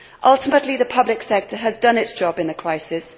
Ultimately, the public sector has done its job in the crisis.